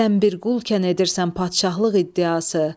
Sən bir qul kən edirsən padşahlıq iddiası.